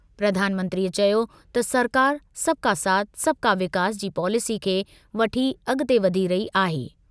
प्रधानमंत्रीअ चयो त सरकार 'सबका साथ सबका विकास' जी पॉलेसी खे वठी अगि॒ते वधी रही आहे।